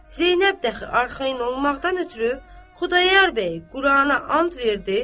Zeynəb də axı arxayın olmaqdan ötrü Xudayar bəy Qurana and verdi.